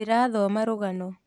Ndĩrathoma rũgano